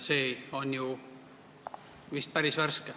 See siin on vist päris värske.